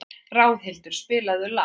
Ráðhildur, spilaðu lag.